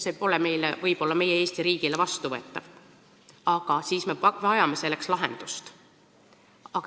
Võib-olla see pole tõesti meie Eesti riigile vastuvõetav, kuid siis me vajame lahendust.